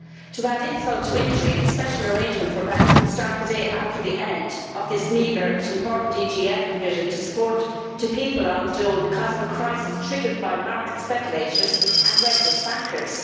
To add insult to injury, the special arrangement for banks will start the day after the end of this meagre but important EGF provision to support people on the dole because of a crisis triggered by market speculators and reckless bankers.